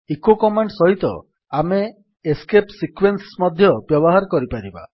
eco command ସହିତ ଆମେ escape sequence ମଧ୍ୟ ବ୍ୟବହାର କରିପାରିବା